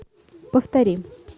повтори